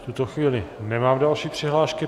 V tuto chvíli nemám další přihlášky.